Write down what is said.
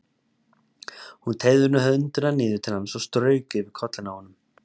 Hún teygði höndina niður til hans og strauk yfir kollinn á honum.